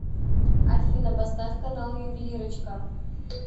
афина поставь канал ювелирочка